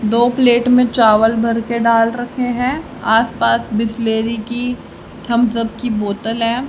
दो प्लेट में चावल भर के डाल रखे हैं आसपास बिसलेरी की थम्बस अप की बोतल है।